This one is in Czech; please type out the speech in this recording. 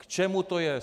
K čemu to je?